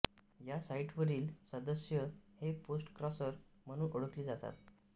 या साईटवरील सदस्य हे पोस्टक्रॉसर म्हणून ओळखले जातात